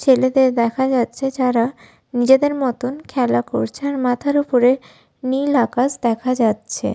ছেলেদের দেখা যাচ্ছে যারা নিজেদের মতন খেলা করছে আর মাথার উপরে নীল আকাশ দেখা যাচ্ছে।